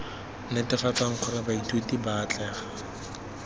netefatsang gore baithuti ba atlega